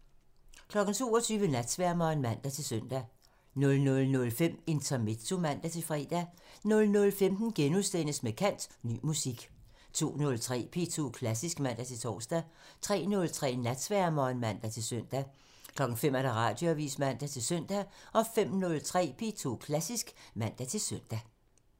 22:00: Natsværmeren (man-søn) 00:05: Intermezzo (man-fre) 00:15: Med kant – Ny musik * 02:03: P2 Klassisk (man-tor) 03:03: Natsværmeren (man-søn) 05:00: Radioavisen (man-søn) 05:03: P2 Klassisk (man-søn)